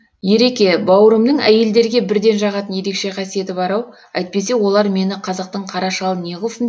ереке бауырымның әйелдерге бірден жағатын ерекше қасиеті бар ау әйтпесе олар мені қазақтың қара шалын неғылсын